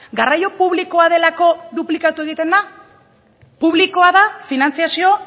garraio publikoa delako duplikatu egiten da publikoa da finantzazio